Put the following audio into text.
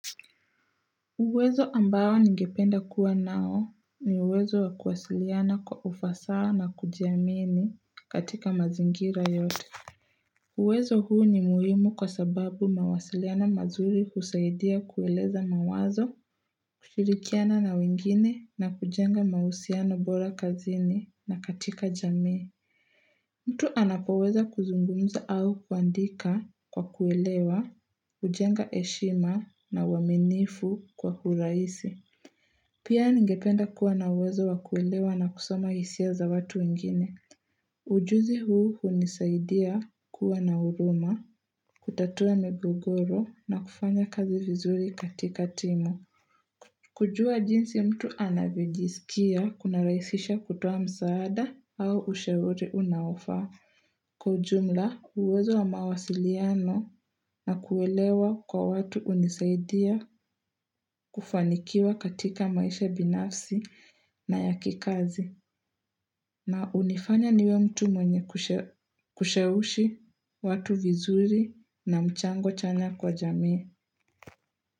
Uwezo ambao ningependa kuwa nao ni uwezo wa kuwasiliana kwa ufasaha na kujiamini katika mazingira yote uwezo huu ni muhimu kwa sababu mawasiliano mazuri husaidia kueleza mawazo kushirikiana na wengine na kujenga mahusiano bora kazini na katika jamii mtu anapoweza kuzungumza au kuandika kwa kuelewa, kujenga heshima na uaminifu kwa urahisi Pia ningependa kuwa na uwezo wa kuelewa na kusoma hisia za watu wengine. Ujuzi huu hunisaidia kuwa na huruma, kutatua migogoro na kufanya kazi vizuri katika timu kujua jinsi mtu anavyojisikia kunarahisisha kutoa msaada au ushauri unaofaa. Kwa ujumla uwezo wa mawasiliano na kuelewa kwa watu hunisaidia kufanikiwa katika maisha binafsi na ya kikazi. Na hunifanya niwe mtu mwenye kusheushi watu vizuri na mchango chanya kwa jamii.